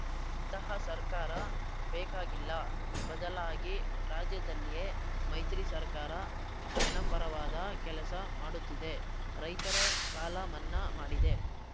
ಇಂತಹ ಸರ್ಕಾರ ಬೇಕಾಗಿಲ್ಲ ಬದಲಾಗಿ ರಾಜ್ಯದಲ್ಲಿಯೆ ಮೈತ್ರಿ ಸರ್ಕಾರ ಜನಪರವಾದ ಕೆಲಸ ಮಾಡುತ್ತಿದೆ ರೈತರ ಸಾಲ ಮನ್ನಾ ಮಾಡಿದೆ